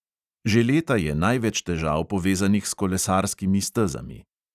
Že leta je največ težav povezanih s kolesarskimi stezami.